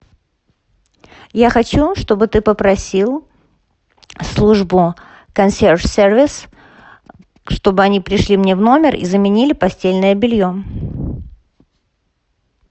я хочу чтобы ты попросил службу консьерж сервис чтобы они пришли мне в номер и заменили постельное белье